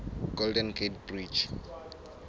golden gate bridge